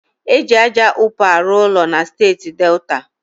E ji aja ụpa arụ ụlọ na steeti Delta.